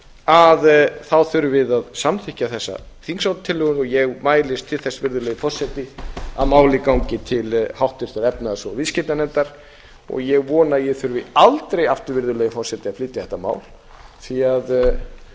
að þá þurfið þið að samþykkja þessa þingsályktunartillögu og ég mælist til þess virðulegi forseti að málið gangi til háttvirtrar efnahags og viðskiptanefndar og ég vona að ég þurfi aldrei aftur virðulegi forseti að flytja þetta mál en